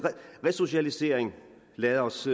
resocialisering lad os